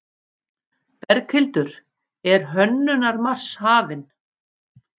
Berghildur, er Hönnunarmars hafinn?